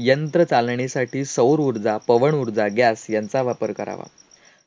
यंत्र चालणेसाठी सौरऊर्जा, पवनऊर्जा, gas यांचा वापर करावा.